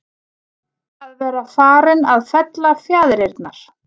Að vera farinn að fella fjaðrirnar